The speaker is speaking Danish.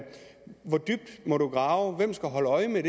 hvor dybt må man grave hvem skal holde øje med